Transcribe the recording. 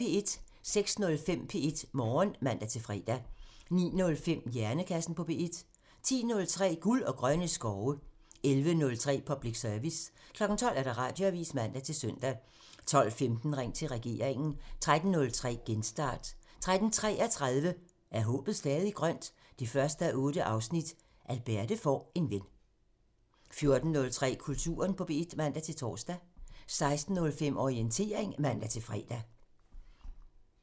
06:05: P1 Morgen (man-fre) 09:05: Hjernekassen på P1 (man) 10:03: Guld og grønne skove (man) 11:03: Public Service (man) 12:00: Radioavisen (man-søn) 12:15: Ring til regeringen (man) 13:03: Genstart (man-fre) 13:33: Er håbet stadig grønt? 1:8 – Alberte får en ven 14:03: Kulturen på P1 (man-tor) 16:05: Orientering (man-fre)